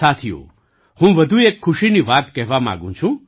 સાથીઓ હું વધુ એક ખુશીની વાત કહેવા માગું છું